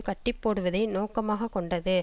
கட்டிப்போடுவதை நோக்கமாக கொண்டது